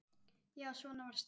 Já, svona varst þú.